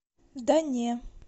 да не